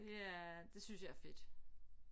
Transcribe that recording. Det er det synes jeg er fedt